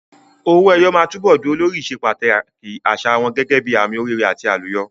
Owó ẹyọ máa túbọ̀ dúró lórí ìsepàtàkì àṣà wọn gẹ́gẹ́ bíi àmì oríire àti àlùyọ.